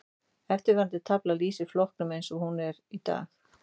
Eftirfarandi tafla lýsir flokkuninni eins og hún er í dag.